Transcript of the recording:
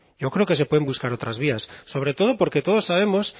yo creo que se pueden buscar otras vías sobre todo porque todos sabemos